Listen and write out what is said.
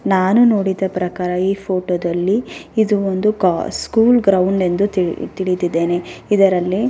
ನಾನು ನೋಡಿದ ಪ್ರಕಾರ ಈ ಫೋಟೋ ದಲ್ಲಿ ಇದು ಒಂದು ಸ್ಕೂಲ್ ಗ್ರೌಂಡ್ ಎಂದು ತಿಳಿದಿದ್ದೇನೆ ಇದರಲ್ಲಿ --